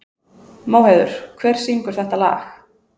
Móheiður, hver syngur þetta lag?